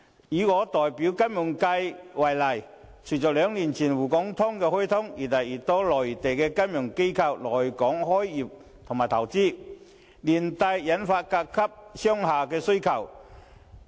以我代表的金融服務界為例，隨着兩年前"滬港通"開通，有越來越多的內地金融機構來港開業或投資，連帶推動對甲級商廈的需求。